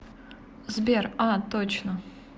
сбер а точно